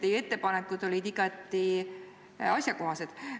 Teie ettepanekud olid igati asjakohased.